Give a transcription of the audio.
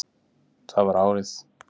Það var árið